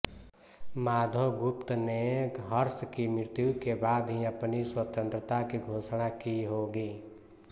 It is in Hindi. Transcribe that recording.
माधवगुप्त ने हर्ष की मृत्यु के बाद ही अपनी स्वतंत्रता की घोषणा की होगी